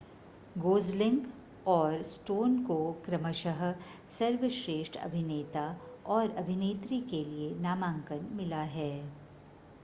Gosling और Stone को क्रमशः सर्वश्रेष्ठ अभिनेता और अभिनेत्री के लिए नामांकन मिला है